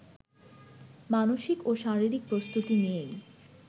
মানসিক ও শারীরিক প্রস্তুতি নিয়েই